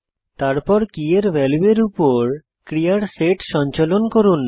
তারপর কীয়ের ভ্যালুয়ের উপর ক্রিয়ার সেট সঞ্চালন করুন